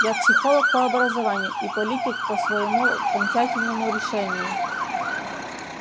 я психолог по образованию и политик по своему окончательному решению